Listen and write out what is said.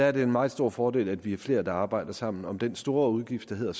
er en meget stor fordel at vi er flere der arbejder sammen om den store udgift der handler